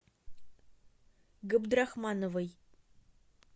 габдрахмановой